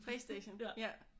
PlayStation ja